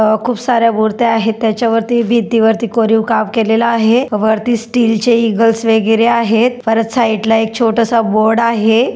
अ खुप साऱ्या मुर्त्या आहे त्याच्यावरती भिंती वरती कोरीव काम केलेल आहे. वरती स्टीलचे इंगल्स वगैरे आहेत परत साइड ला एक छोटासा बोर्ड आहेत.